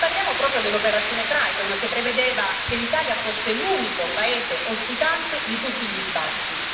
Parliamo proprio dell'operazione Triton, che prevedeva che l'Italia fosse l'unico paese ospitante di tutti gli sbarchi.